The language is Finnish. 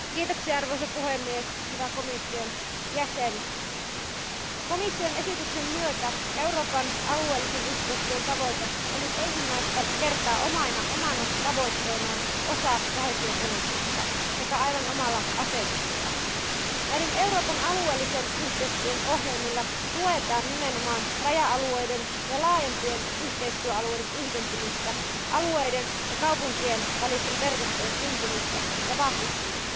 Arvoisa puhemies, arvoisa komission jäsen, komission esityksen myötä Euroopan alueellisen yhteistyön tavoite on nyt ensimmäistä kertaa omana tavoitteenaan osa koheesiopolitiikkaa sekä aivan omalla asetuksella. Näillä Euroopan alueellisen yhteistyön ohjelmilla tuetaan nimenomaan raja alueiden ja laajempien yhteistyöalueiden yhdentymistä, alueiden ja kaupunkien välisten verkostojen syntymistä ja vahvistumista.